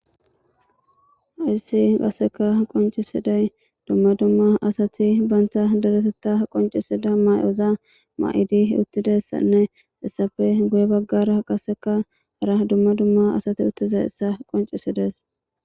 hayssi qasseka qoncisiday dumma dumma asati banta deretetta qoncisida may7oza ma7idi uttidayssanne issape guye baggara qaseka hara dumma dumma asati uttizayssa qoncisides.